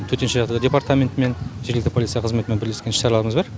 төтенше жағдайлар департаментімен жергілікті полиция қызметімен бірлескен іс шараларымыз бар